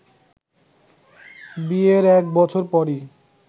বিয়ের এক বছর পরই